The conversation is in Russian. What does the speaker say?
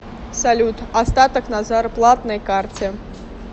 салют остаток на зарплатной карте